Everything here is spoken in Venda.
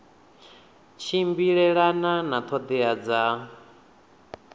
tshimbilelana na ṱhoḓea dza nqf